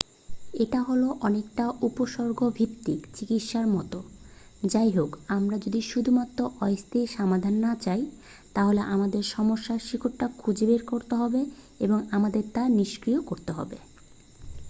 এটা হল অনেকটা উপসর্গভিত্তিক চিকিৎসার মতো যাইহোক আমরা যদি শুধুমাত্র অস্থায়ী সমাধান না চাই তাহলে আমাদের সমস্যার শিকড়টা খুঁজে বের করতে হবে এবং আমাদের তা নিষ্ক্রিয় করতে হবে